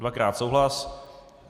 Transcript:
Dvakrát souhlas.